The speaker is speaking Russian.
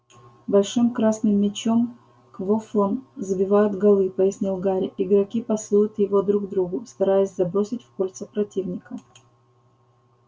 большим красным мячом квоффлом забивает голы пояснил гарри игроки пасуют его друг другу стараясь забросить в кольца противника